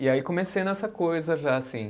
E aí comecei nessa coisa já, assim.